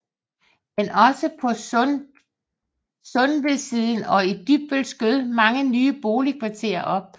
Men også på Sundevedsiden og i Dybbøl skød mange nye boligkvarterer op